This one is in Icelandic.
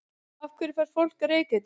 Af hverju fær fólk reykeitrun?